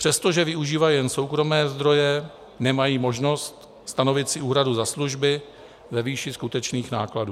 Přestože využívají jenom soukromé zdroje, nemají možnost stanovit si úhradu za služby ve výši skutečných nákladů.